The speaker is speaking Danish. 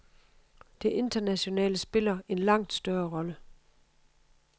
Det internationale spiller en langt større rolle.